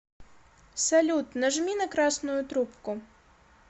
салют нажми на красную трубку